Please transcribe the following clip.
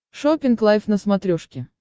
шоппинг лайф на смотрешке